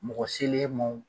Mɔgɔ se l'e ma o